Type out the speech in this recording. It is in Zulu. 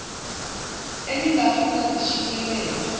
enin gafisa zishicilelwe